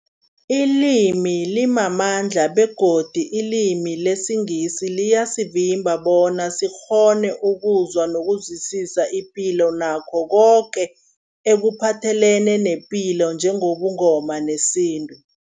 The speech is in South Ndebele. Ilimi limamandla begodu ilimi lesiNgisi liyasivimba bona sikghone ukuzwa nokuzwisisa ipilo nakho koke ekuphathelene nepilo njengobuNgoma nesintu.